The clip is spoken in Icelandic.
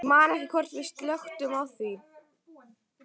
Ég man ekki hvort við slökktum á því.